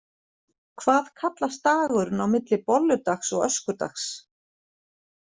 Hvað kallast dagurinn á milli bolludags og öskudags?